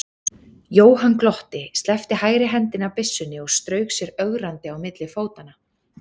Jóhann glotti, sleppti hægri hendinni af byssunni og strauk sér ögrandi á milli fótanna.